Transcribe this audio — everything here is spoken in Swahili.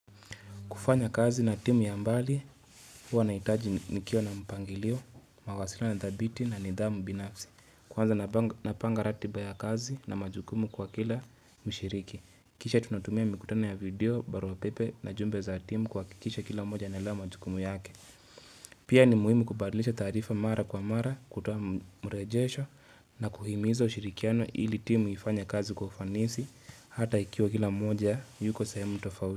Kufanya kazi na timu ya mbali huwa na hitaji nikiwa na mpangilio, mawasiliano ya dhabiti na nidhamu binafsi. Kwanza na panga ratiba ya kazi na majukumu kwa kila mshiriki. Kisha tunatumia mikutana ya video, barua pepe na jumbe za timu kuhakikisha kila mmoja analewa majukumu yake. Pia ni muhimu kubadlisha taarifa mara kwa mara, kutoa mrejesho na kuhimiza ushirikiano ili timu ifanye kazi kufanisi hata ikiwa kila mmoja yuko sehemu tofauti.